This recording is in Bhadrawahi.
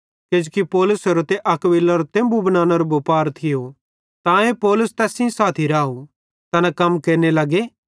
किजोकि पौलुसेरो ते अक्विलारो तेम्बु बनानेरो बुपार थियो तांए पौलुस तैस सेइं साथी राव तैना कम केरने लगे